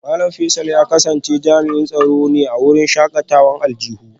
Malam Faisal ya kasance jami'in tsaro ne a wurin shakatawar aljihu